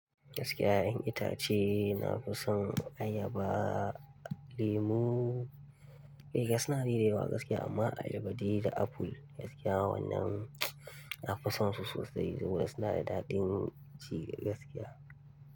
Gaskiya ya'yan itace na fi son ayaba, lemu eh gasu nan da yawa gaskiya amma ayaba dai da apple gaskiya wannan na fi son su sosai domin suna da daɗin ci gaskiya.